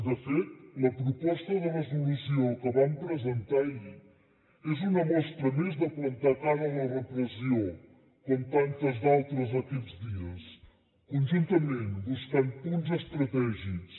de fet la proposta de resolució que vam presentar ahir és una mostra més de plantar cara a la repressió com tantes d’altres d’aquests dies conjuntament buscant punts estratègics